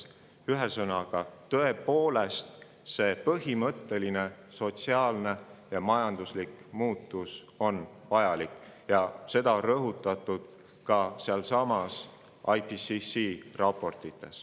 Ühesõnaga, tõepoolest on see põhimõtteline sotsiaalne ja majanduslik muutus vajalik ja seda on rõhutatud ka IPCC raportites.